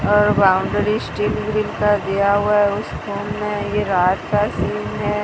Boundary steel grip का दिया हुआ है उस फोन में ये रात का सीन है।